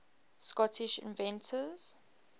scottish inventors